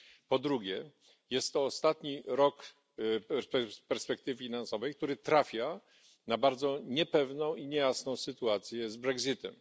Po drugie jest to ostatni rok już z perspektywy finansowej który trafia na bardzo niepewną i niejasną sytuację z brexitem.